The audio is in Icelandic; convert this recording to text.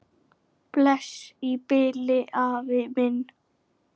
Bless í bili, afi minn.